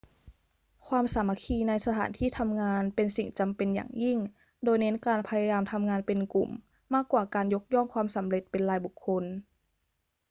ความสามัคคีในสถานที่ทำงานเป็นสิ่งจำเป็นอย่างยิ่ง โดยเน้นการพยายามทำงานเป็นกลุ่มมากกว่าการยกย่องความสำเร็จเป็นรายบุคคล